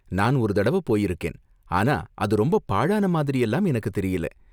நான் ஒரு தடவ போயிருக்கேன், ஆனா அது ரொம்ப பாழான மாதிரியெல்லாம் எனக்கு தெரியல.